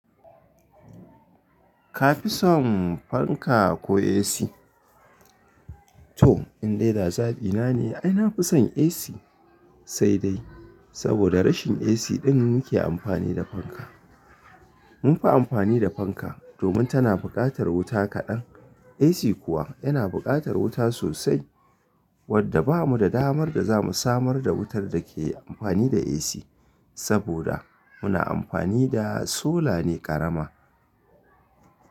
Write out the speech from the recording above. Ka fi son fanka ko AC? To in dai da zaɓi na ne, ai na fi son AC sai dai. Saboda rashin AC ɗin muke amfani da fanka. Mun fi amfani da fanka, domin tana buƙatar wuta kaɗan. AC kuwa yana buƙatar wuta sosai wadda ba mu da damar da za mu samar da wutar da ke amfani da AC, saboda muna amfani da sola ne ƙarama.